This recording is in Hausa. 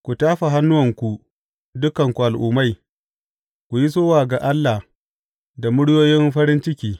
Ku tafa hannuwanku, dukanku al’ummai; ku yi sowa ga Allah da muryoyin farin ciki.